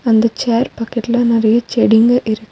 அந்த சேர் பக்கத்துல நெறைய செடிங்க இருக்--